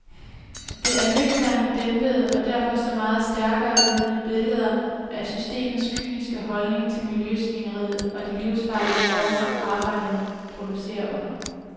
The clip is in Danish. Der er nøgterne, dæmpede og derfor så meget stærkere virkende billeder af systemets kyniske holdning til miljøsvineriet og de livsfarlige forhold, arbejderne producerer under.